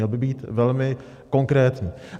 Měl by být velmi konkrétní.